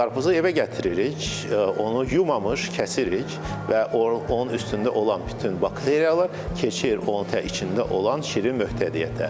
Qarpızı evə gətiririk, onu yumamış kəsirik və onun üstündə olan bütün bakteriyalar keçir onun içində olan şirin möhtəviyyətə.